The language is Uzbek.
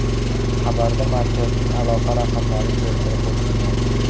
Xabarda markazning aloqa raqamlari keltirib o‘tilgan.